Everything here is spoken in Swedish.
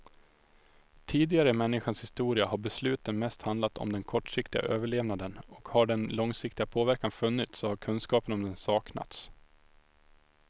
Tidigare i människans historia har besluten mest handlat om den kortsiktiga överlevnaden och har den långsiktiga påverkan funnits så har kunskapen om den saknats.